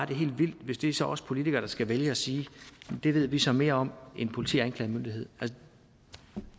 det er helt vildt hvis det så er os politikere der skal vælge at sige at det ved vi så mere om end politi og anklagemyndigheden